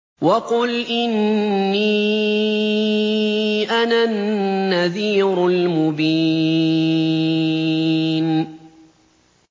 وَقُلْ إِنِّي أَنَا النَّذِيرُ الْمُبِينُ